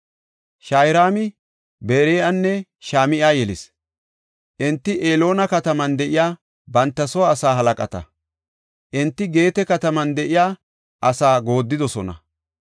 Shaharaami Beri7anne Shem77a yelis. Enti Eloona kataman de7iya banta soo asaa halaqata. Enti Geete kataman de7iya asaa gooddidosona.